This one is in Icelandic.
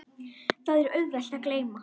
Það er auðvelt að gleyma.